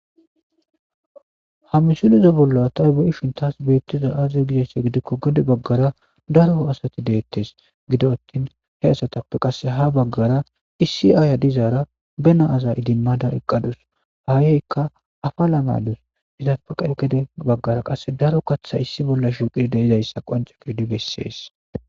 ha misuliza bolla taybe7ishintas beettiza aaziza gizesse gidikko gede baggara daroo asati deettes gido attin he asatappe qasse ha baggara issi aaya dizaara benaaza idinmada eqqadus haayeykka afa lamaydus izapaqa gede baggara qasse daro katha issi bolla shuqid de izayssa qance ko di bessees